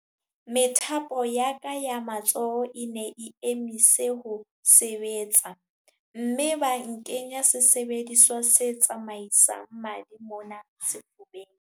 Methapo ya ka ya matsoho e ne e emise ho sebetsa mme ba nkenya sesebediswa se tsamaisang madi mona sefubeng.